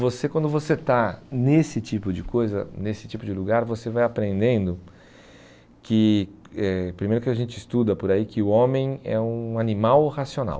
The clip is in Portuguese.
Você, quando você está nesse tipo de coisa, nesse tipo de lugar, você vai aprendendo que eh, primeiro que a gente estuda por aí, que o homem é um animal racional.